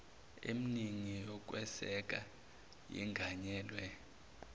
emningi yokweseka yenganyelwe